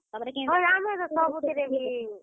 ହଏ ଆମର ଟା ସବୁଥିରେ ବି।